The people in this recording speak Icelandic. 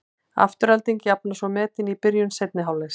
Afturelding jafnar svo metin í byrjun seinni hálfleiks.